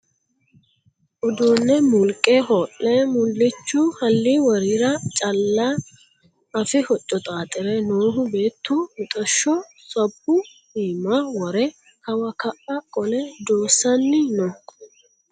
Uduune mulqe hoo'le mulichu ha'li worira calla afi hoco xaxire noohu beettu mixasho sabbu iibba wore kawa ka"a qole doosani no.